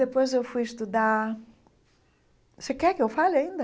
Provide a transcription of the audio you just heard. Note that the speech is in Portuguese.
Depois eu fui estudar... Você quer que eu fale ainda?